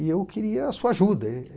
E eu queria a sua ajuda.